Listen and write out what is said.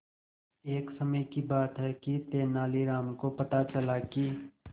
एक समय की बात है कि तेनालीराम को पता चला कि